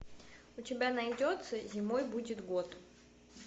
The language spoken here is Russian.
у тебя найдется зимой будет год